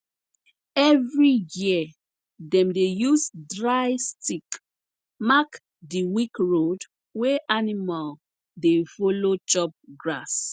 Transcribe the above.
every year dem dey use dry stick mark di weak road wey animal dey follow chop grass